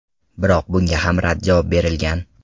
Biroq bunga ham rad javob berilgan.